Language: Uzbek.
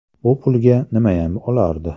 Bu pulga nimayam olardi.